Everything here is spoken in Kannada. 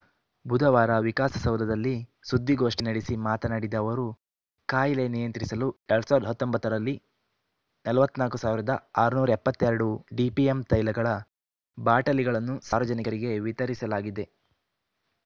ಬುಧವಾರ ವಿಕಾಸಸೌಧದಲ್ಲಿ ಸುದ್ದಿಗೋಷ್ಠಿ ನಡೆಸಿ ಮಾತನಾಡಿದ ಅವರು ಕಾಯಿಲೆ ನಿಯಂತ್ರಿಸಲು ಎರಡ್ ಸಾವಿರದ ಹತ್ತೊಂಬತ್ತು ರಲ್ಲಿ ನಲವತ್ತ್ ನಾಲ್ಕು ಆರುನೂರ ಎಪ್ಪತ್ತ್ ಎರಡು ಡಿಪಿಎಂ ತೈಲಗಳ ಬಾಟಲಿಗಳನ್ನು ಸಾರ್ವಜನಿಕರಿಗೆ ವಿತರಿಸಲಾಗಿದೆ